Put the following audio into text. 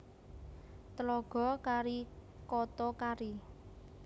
Tlaga Kari Koto Kari